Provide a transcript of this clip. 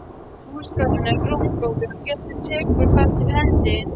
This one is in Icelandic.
Húsagarðurinn er rúmgóður og Gerður tekur þar til hendi.